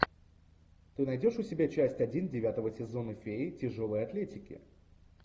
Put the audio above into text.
ты найдешь у себя часть один девятого сезона феи тяжелой атлетики